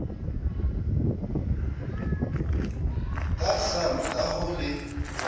ka kgang ka ho le